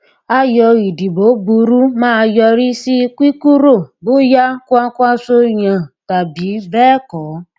ayò ìdìbò burú máa yọrí sí kíkúrò bóyá kwakwanso yàn tàbí béẹkọ